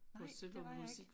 Nej det var jeg ikke